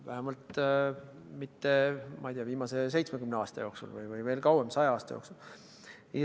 Vähemalt mitte, ma ei tea, viimase 70 aasta jooksul või veel kauem, 100 aasta jooksul.